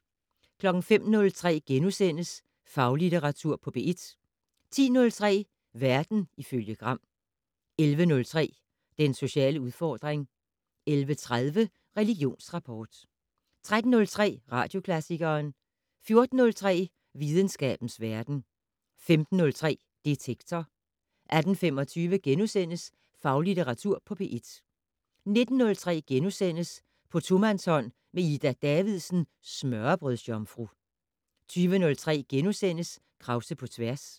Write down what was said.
05:03: Faglitteratur på P1 * 10:03: Verden ifølge Gram 11:03: Den sociale udfordring 11:30: Religionsrapport 13:03: Radioklassikeren 14:03: Videnskabens verden 15:03: Detektor 18:25: Faglitteratur på P1 * 19:03: På tomandshånd med Ida Davidsen, smørrebrødsjomfru * 20:03: Krause på tværs *